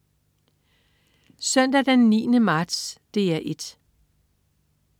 Søndag den 9. marts - DR 1: